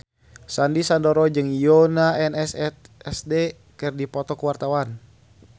Sandy Sandoro jeung Yoona SNSD keur dipoto ku wartawan